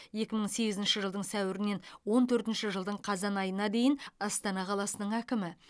екі мың сегізінші жылдың сәуірінен екі мың он төртінші жылдың қазан айына дейін астана қаласының әкімі